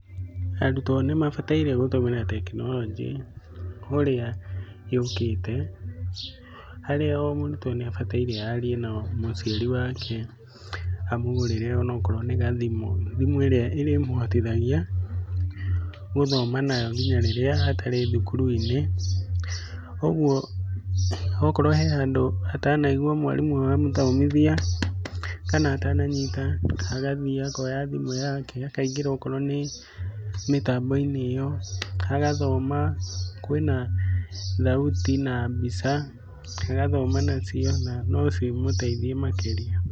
Arutwo nĩmabataire gũtũmĩra tekinoronjĩ ũrĩa yũkĩte, harĩa o mũrutwo nĩabataire arie na mũciari wake amũgũrĩre ona akorwo nĩ gathimũ. Thimũ ĩrĩa ĩrĩmũhotithagia gũthoma nayo nginya rĩrĩa atarĩ thukuru-inĩ, okorwo hena handũ atanaigwa mwarimũ amũthomithia kana atananyita agathiĩ akoya thimũ yake akaingĩra akorwo nĩ mĩtamboinĩ ĩyo agathoma. Kwĩna thauti na mbica agathoma nacio na no cimũteithie makĩrĩa.